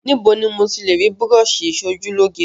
Níbo ni mo ti le rí búrọ́ṣì ìṣojúlóge?